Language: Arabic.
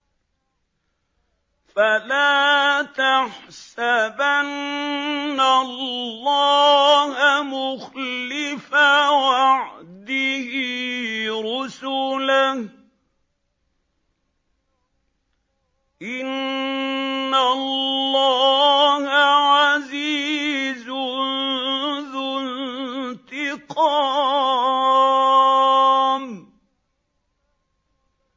فَلَا تَحْسَبَنَّ اللَّهَ مُخْلِفَ وَعْدِهِ رُسُلَهُ ۗ إِنَّ اللَّهَ عَزِيزٌ ذُو انتِقَامٍ